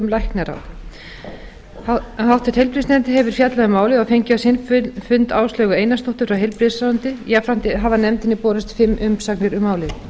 læknaráð háttvirtur heilbrigðisnefnd hefur fjallað um málið og fengið á sinn fund áslaugu einarsdóttur frá heilbrigðisráðuneyti jafnframt hafa nefndinni borist fimm umsagnir um málið